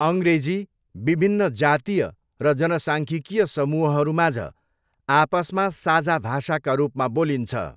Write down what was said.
अङ्ग्रेजी विभिन्न जातीय र जनसाङ्ख्यिकीय समूहहरूमाझ आपसमा साझा भाषाका रूपमा बोलिन्छ।